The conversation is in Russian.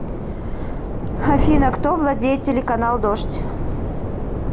афина кто владеет телеканал дождь